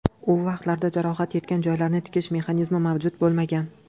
U vaqtlarda jarohat yetgan joylarni tikish mexanizmi mavjud bo‘lmagan.